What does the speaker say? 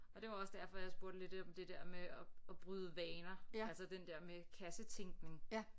Og det var også derfor jeg spurgte lidt om det der med at at bryde vaner altså den der med kassetænkning